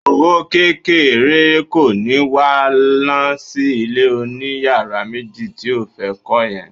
Owó kékeré kọ́ ni wà á ná sí ilé oníyàrá méjì tí ó fẹ́ kọ́ yẹn